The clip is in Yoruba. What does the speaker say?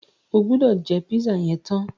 O gbọ́dọ̀ jẹ́ pízà yẹn tán!